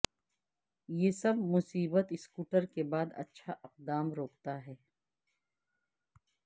یہ سب مصیبت سکوٹر کے بعد اچھا اقدام روکتا ہے